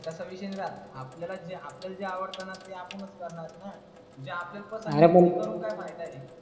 तसा विषय नाही राहत आपल्याला आपल्याला जी आवडते न ती आपणच करणार न. आरे पण. जे आपल्याला पसंद नाही ते करून काय फायदा.